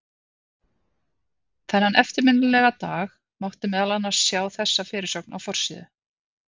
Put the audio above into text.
Þennan eftirminnilega dag mátti meðal annars sjá þessa fyrirsögn á forsíðu